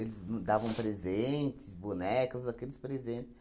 Eles dan davam presentes, bonecas, aqueles presentes.